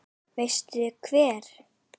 Veistu hver